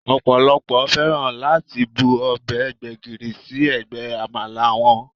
Ọ̀pọ̀lọ́pọ̀ fẹ́ràn láti bu ọbẹ̀ gbégìrì sí ẹ̀gbẹ́ Àmàlà wọn